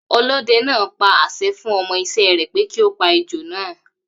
Ọlọ́dẹ náà pa àṣẹ fun ọmọ ìṣe re pé kí ó pa ejò naa